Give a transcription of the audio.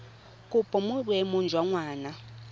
kopo mo boemong jwa ngwana